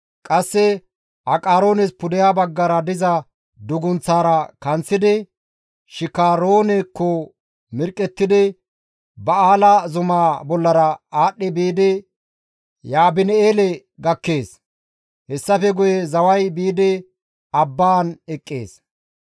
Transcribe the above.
Qasse Aqaroones pudeha baggara diza dugunththaara kanththidi Shikaroonekko mirqqettidi Ba7aala zuma bollara aadhdhi biidi Yaabin7eele gakkees; hessafe guye zaway biidi abbaan eqqees.